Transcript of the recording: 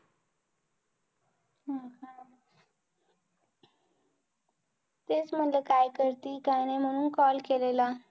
तेच म्हणलं काय करती काय नाही. म्हणून call केलेला.